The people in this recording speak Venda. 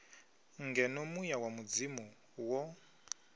ngeno muya wa mudzimu wo